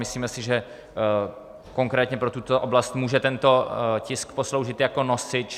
Myslíme si, že konkrétně pro tuto oblast může tento tisk posloužit jako nosič.